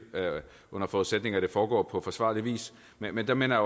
under forudsætning af at det foregår på forsvarlig vis men der minder